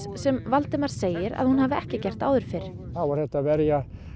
sem Valdimar segir að hún hafi ekki gert áður fyrr þá var hægt að verja